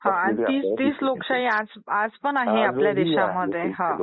हां आणि तीच लोकशाही आज पण आहे आपल्या देशामध्ये